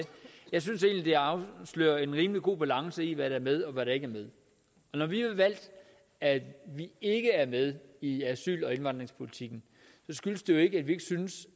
jeg synes egentlig det afslører en rimelig god balance i hvad der er med og hvad der ikke er med når vi har valgt at vi ikke er med i asyl og indvandringspolitikken skyldes det jo ikke at vi ikke synes